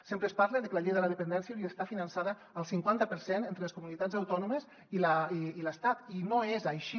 sempre es parla de que la llei de la dependència hauria d’estar finançada al cinquanta per cent entre les comunitats autònomes i l’estat i no és així